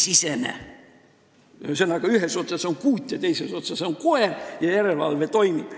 Ühesõnaga, ühes otsas on kuut ja teises otsas on koer ja järelevalve toimib.